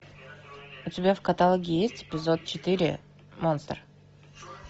у тебя в каталоге есть эпизод четыре монстр